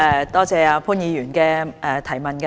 多謝潘議員提出的補充質詢。